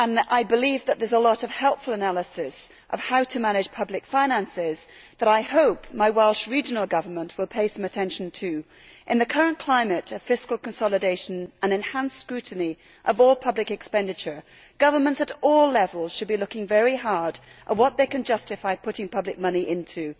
I believe that there is a lot of helpful analysis of how to manage public finances which I hope my Welsh Regional Government will pay some attention to. In the current climate of fiscal consolidation and enhanced scrutiny of all public expenditure, governments at all levels should be looking very hard at what they can justify putting public money into.